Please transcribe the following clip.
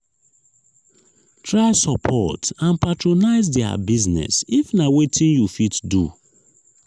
try support and patronise their business if na wetin you fit do